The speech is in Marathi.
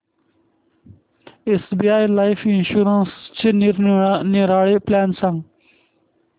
एसबीआय लाइफ इन्शुरन्सचे निरनिराळे प्लॅन सांग